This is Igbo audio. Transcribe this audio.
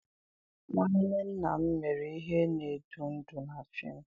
nwanne nna m mere ihe na-edu ndú na fim.